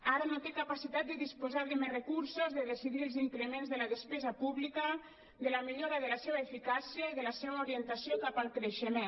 ara no té capacitat de disposar de més recursos de decidir els increments de la despesa pública de la millora de la seva eficàcia i de la seva orientació cap al creixement